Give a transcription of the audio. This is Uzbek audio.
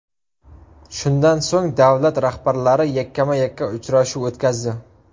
Shundan so‘ng davlat rahbarlari yakkama-yakka uchrashuv o‘tkazdi.